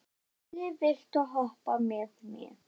Lilli, viltu hoppa með mér?